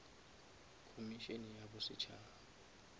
komišene ya bosetšhaba